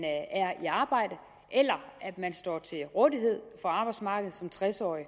er i arbejde eller at man står til rådighed for arbejdsmarkedet som tres årig